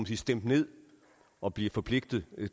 sige stemt ned og bliver forpligtet